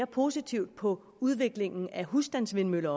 positivt på udviklingen af husstandsvindmøller